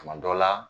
Tuma dɔ la